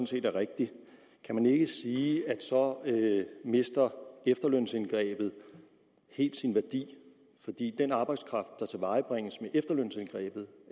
set er rigtigt kan man ikke sige at så mister efterlønsindgrebet helt sin værdi fordi den arbejdskraft der tilvejebringes med efterlønsindgrebet